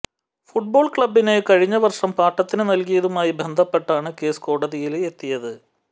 football ക്ലബിന് കഴിഞ്ഞവര്ഷം പാട്ടത്തിന് നല്കിയതുമായി ബന്ധപ്പെട്ടാണ് കേസ് കോടതിയില് എത്തിയത്